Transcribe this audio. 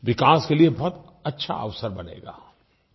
विकास के लिये बहुत अच्छा अवसर बनेगा